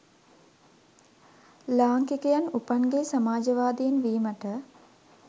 ලාංකිකයන් උපන්ගෙයි සමාජවාදීන් වීමට